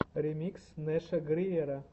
ремикс нэша гриера